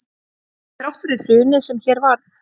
Þrátt fyrir hrunið sem hér varð